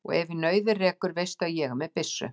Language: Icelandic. Og ef í nauðir rekur veistu að ég er með byssu.